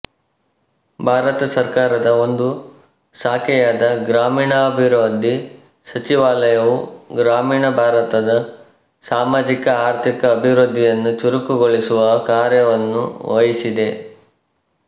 ಭಾರತ ಸರ್ಕಾರದ ಒಂದು ಶಾಖೆಯಾದ ಗ್ರಾಮೀಣಾಭಿವೃದ್ಧಿ ಸಚಿವಾಲಯವು ಗ್ರಾಮೀಣ ಭಾರತದ ಸಾಮಾಜಿಕಆರ್ಥಿಕ ಅಭಿವೃದ್ಧಿಯನ್ನು ಚುರುಕುಗೊಳಿಸುವ ಕಾರ್ಯವನ್ನು ವಹಿಸಿದೆ